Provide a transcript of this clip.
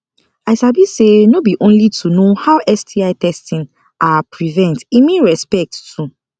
i sabi say no be only to know how sti testing are prevent e mean respect too